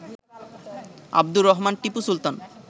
Abdur Rahman Tipu Sultan